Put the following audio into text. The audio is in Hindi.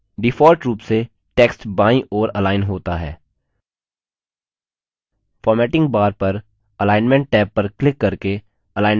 default रूप से text बायीं ओर अलाइन होता है formatting bar पर अलाइन्मन्ट टैब पर क्लिक करके अलाइन्मन्ट बदल सकते हैं